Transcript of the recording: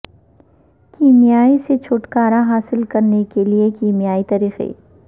کیمیائی سے چھٹکارا حاصل کرنے کے لئے کیمیائی طریقے